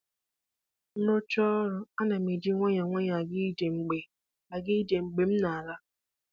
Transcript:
M rụchaa ọrụ, ana m eji nwayọọ nwayọọ aga ije mgbe aga ije mgbe m na-ala